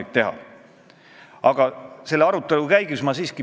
Miks me ei aruta edasi, kas füüsiline isik ja ettevõtja peaksid seaduses eraldi käsitletud olema?